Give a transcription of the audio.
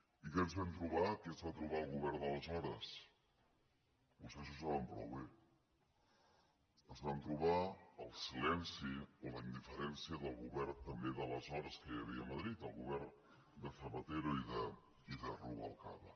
i què ens vam trobar què es va trobar el govern d’aleshores vostès ho saben prou bé es van trobar el silenci o la indiferència del govern també d’aleshores que hi havia a madrid el govern de zapatero i de rubalcaba